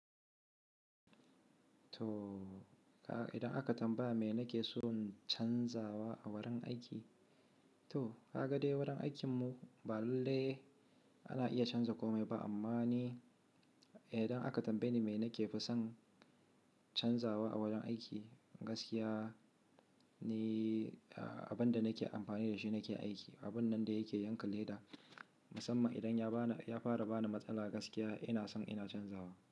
To idan aka tambaya me na ke son canzawa a wurin aiki, to kaka dai wurin aikinmu ba lalle ana iya canja kome ba. Amma ni idan aka tambaye ni mena ke fi son canzawa a wurin aiki, gaskiya ni abin da nake amfani da shi nake aiki, abun nan da yake yanka leda. Musamman idan ya fara bani matsala gaskiya ina son ina canzawa.